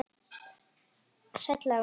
Sæll afi minn sagði hún.